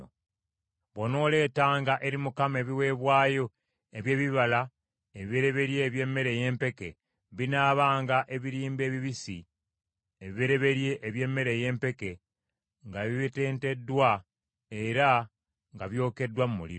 “ ‘Bw’onooleetanga eri Mukama ebiweebwayo eby’ebibala ebibereberye eby’emmere ey’empeke, binaabanga ebirimba ebibisi ebibereberye eby’emmere ey’empeke nga bibetenteddwa era nga byokeddwako mu muliro.